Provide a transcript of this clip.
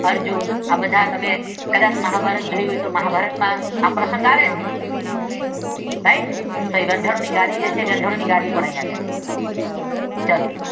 અર્જુન આ બધા તમે મહાભારત જોયું હોય તો મહાભારત માં આ પ્રસંગ આવે છે. રાઇટ? વ્યંઢ્ળો ની ગાડી છે તે અહિયાં છે ચાલો